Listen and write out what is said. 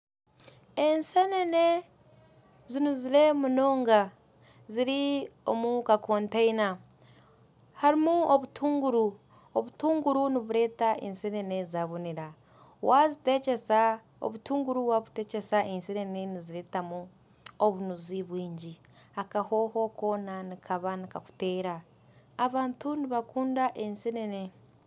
Ensenene zinuzire munonga ziri omukakoteina harimu obutunguru obutunguru niburetera ensenene zabonera, obutunguru wabutekyesa ensenene nibureetamu obunuzi bwingi akahooho koona nikaba nikakuteera abantu nibakunda ensenene.